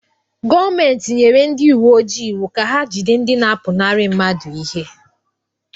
Gọọmenti nyere ndị uwe ojii iwu ka ha jide ndị na-apụnara mmadụ ihe.